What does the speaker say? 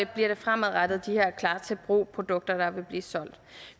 bliver det fremadrettet de her klar til brug produkter der vil blive solgt